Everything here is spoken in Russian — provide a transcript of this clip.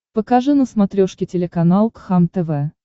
покажи на смотрешке телеканал кхлм тв